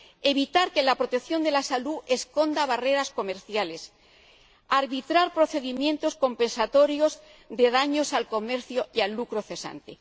evitar que la protección de la salud esconda barreras comerciales y arbitrar procedimientos compensatorios de daños al comercio y al lucro cesante.